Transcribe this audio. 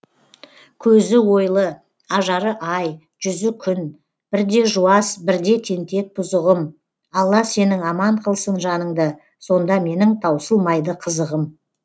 көзі ойлы ажары ай жүзі күн бірде жуас бірде тентек бұзығым алла сенің аман қылсын жаныңды сонда менің таусылмайды қызығым